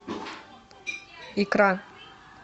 икра